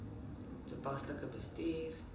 toepaslik bestuur